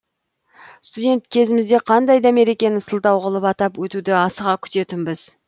студент кезімізде қандай да мерекені сылтау қылып атап өтуді асыға күтетінбіз